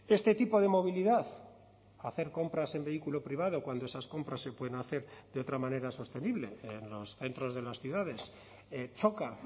este tipo de movilidad hacer compras en vehículo privado cuando esas compras se pueden hacer de otra manera sostenible en los centros de las ciudades choca